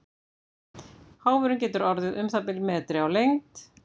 Háfurinn getur orðið um það bil metri á lengd.